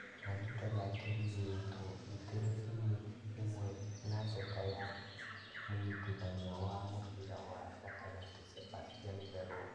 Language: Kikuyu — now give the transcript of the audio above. Na rĩtwa rĩake rĩigĩtwo ratiri-inĩ ĩmwe na njata ya mũnyitithania wa mũbĩra wa gatagatĩ Sebastian Veron